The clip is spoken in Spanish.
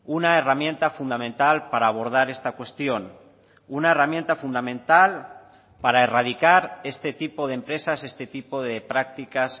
una herramienta fundamental para abordar esta cuestión una herramienta fundamental para erradicar este tipo de empresas este tipo de prácticas